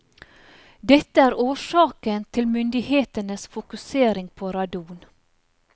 Dette er årsaken til myndighetenes fokusering på radon.